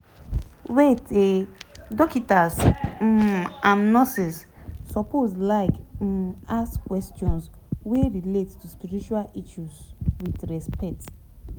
wait eh dokita's um and nurses suppose like um ask questions wey relate to spiritual issues with respect